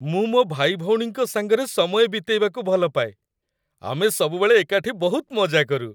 ମୁଁ ମୋ ଭାଇଭଉଣୀଙ୍କ ସାଙ୍ଗରେ ସମୟ ବିତେଇବାକୁ ଭଲପାଏ । ଆମେ ସବୁବେଳେ ଏକାଠି ବହୁତ ମଜା କରୁ ।